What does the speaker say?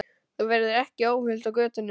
Þú verður ekki óhult á götunum.